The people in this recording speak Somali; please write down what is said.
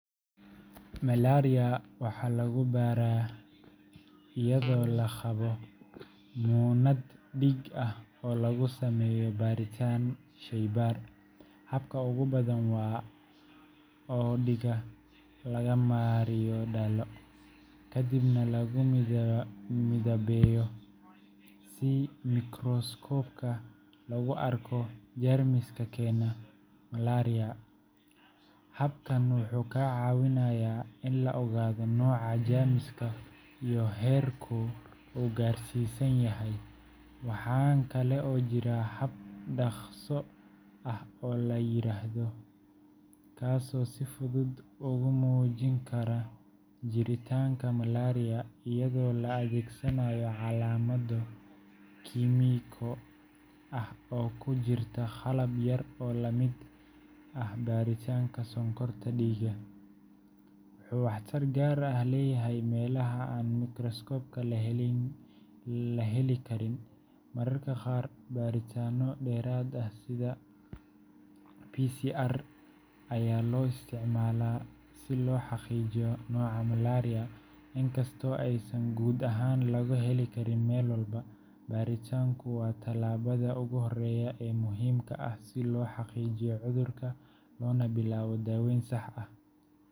Malariya waxaa lagu baaraa iyadoo la qaado muunad dhiig ah oo lagu sameeyo baaritaan sheybaar. Habka ugu badan waa oo dhiigga laga mariyo dhalo, kadibna lagu midabeeyo si mikroskoobka loogu arko jeermiska keena malariya . Habkan wuxuu ka caawinayaa in la ogaado nooca jeermiska iyo heerka uu gaarsiisan yahay. Waxaa kale oo jira hab dhakhso ah oo la yiraahdo kaasoo si fudud ugu muujin kara jiritaanka malaria iyadoo la adeegsanayo calaamado kiimiko ah oo ku jirta qalab yar oo la mid ah baaritaanka sonkorta dhiigga. RDT-ga wuxuu waxtar gaar ah leeyahay meelaha aan mikroskoob la heli karin. Mararka qaar, baaritaanno dheeraad ah sida ayaa loo isticmaalaa si loo xaqiijiyo nooca malaria, inkastoo aysan guud ahaan laga heli karin meel walba. Baaritaanku waa tallaabada ugu horreysa ee muhiimka ah si loo xaqiijiyo cudurka loona bilaabo daaweyn sax ah.